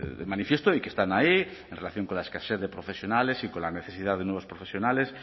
de manifiesto y que están ahí en relación con la escasez de profesionales y con la necesidad de nuevos profesionales